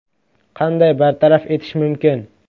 Qanday bartaraf etish mumkin?